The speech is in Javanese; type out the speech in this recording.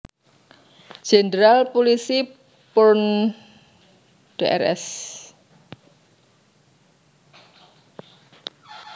Jenderal Pulisi Purn Drs